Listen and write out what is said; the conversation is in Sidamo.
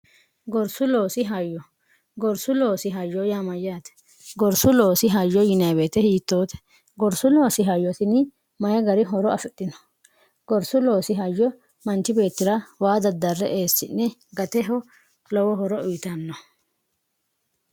gorsu loosi hayyo gorsu loosi hayyo yaamayyaate gorsu loosi hayyo yinaabeete hiittoote gorsu loosi hayosini mayi gari horo afidhino gorsu loosi hayyo manchi beetira waa daddarre eessi'ne gateho lowo horo uyitanno